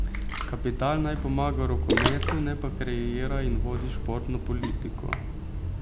Kapital naj pomaga rokometu, ne pa kreira in vodi športno politiko.